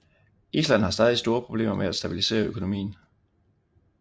Island har stadig store problemer med at stabilisere økonomien